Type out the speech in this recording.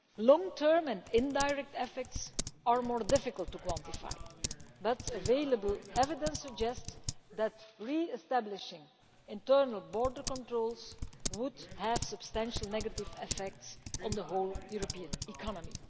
Long-term and indirect effects are more difficult to quantify, but available evidence suggests that re-establishing internal border controls would have substantial negative effects on the whole European economy.